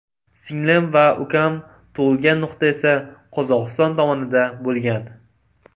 Singlim va ukam tug‘ilgan nuqta esa Qozog‘iston tomonida bo‘lgan.